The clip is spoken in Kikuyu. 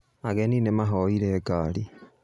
Ageni nĩmahoire ngari